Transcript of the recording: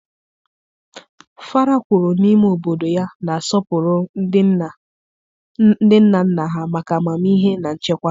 Fara kwuru n'ime obodo ya na-asọpụrụ ndị nna nna ha maka amamihe na nchekwa ha.